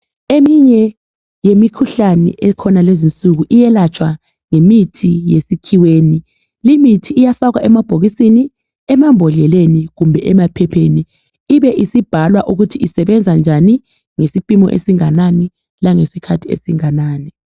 Eminye yemikhuhlane ekhona lezinsuku iyelatshwa ngemithi yesikhiweni. Limithi iyafakwa emabhokisini, emambodleleni kumbe emaphepheni ibe isibhalwa ukuthi isebenza njani ngesimpimo esinganani langesikhathi esinganani.